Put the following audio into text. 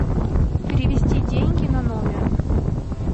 перевести деньги на номер